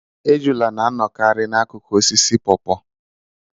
Ejula na-anọkarị n'akụkụ osisi pawpaw.